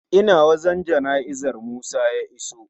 Ina wajan jana'izar musa ya iso